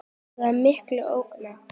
Það er mikil ógn.